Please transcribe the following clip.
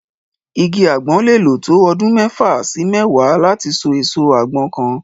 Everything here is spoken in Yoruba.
Igi àgbọn lè lò tó ọdún mẹ́fà sí mẹ́wàá láti so èso àgbọn kan.